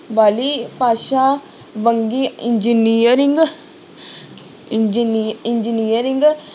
ਵਾਲੀ ਭਾਸ਼ਾ ਵੰਨਗੀ engineering ਇੰਜ਼ੀ~ engineering